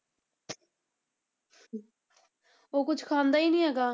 ਉਹ ਕੁਛ ਖਾਂਦਾ ਹੀ ਨੀ ਹੈਗਾ।